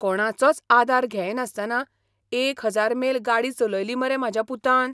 कोणाचोच आदार घेयनासतना एक हजार मेल गाडी चलयली मरे म्हाज्या पुतान!